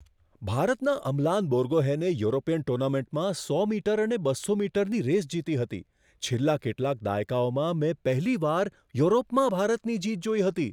ભારતના અમલાન બોર્ગોહેને યુરોપિયન ટુર્નામેન્ટમાં સો મીટર અને બસો મીટરની રેસ જીતી હતી. છેલ્લા કેટલાક દાયકાઓમાં મેં પહેલીવાર યુરોપમાં ભારતની જીત જોઈ હતી!